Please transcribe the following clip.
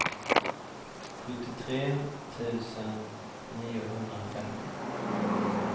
sjuttiotre tusen niohundrafemtio